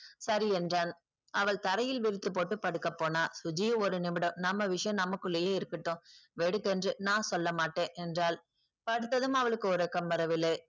சரி என்றான் அவள் தரையில் விரித்து போட்டு படுக்கப்போனால் சுஜி ஒரு நிமிடம் நம்ம விஷயம் நமக்குள்ளேயே இருக்கட்டும் வெடுக்கென்று நான் சொல்லமாட்டேன் என்றால் படுத்ததும் அவளுக்கு உறக்கம் வரவில்லை